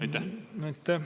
Aitäh!